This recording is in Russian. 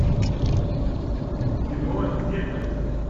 кино зеркальце